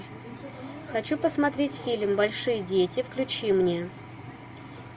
хочу посмотреть фильм большие дети включи мне